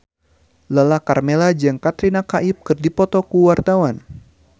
Lala Karmela jeung Katrina Kaif keur dipoto ku wartawan